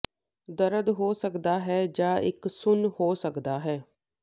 ਦਰਦ ਹੋ ਸਕਦਾ ਹੈ ਜਾਂ ਇੱਕ ਸੁੰਨ ਹੋ ਸਕਦਾ ਹੈ